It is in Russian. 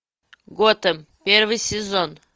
готэм первый сезон